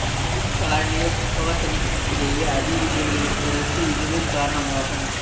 இரு காரணியப் பகத்தனிக்கிடையே அதிக இடைவெளி இருப்பதற்கு இதுவே காரணமாகும்